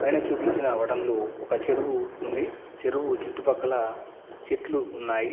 పైన చూపించిన అవడంలో ఒక చెరువు ఉంది చెరువు చుట్టుపక్కల చెట్లు ఉన్నాయి.